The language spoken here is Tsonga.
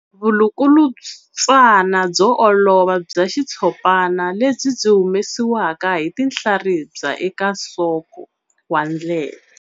Vulukulutswana byo olova bya xitshopana lebyi byi humesiwaka hi tinhlaribya eka nsoko wa ndleve.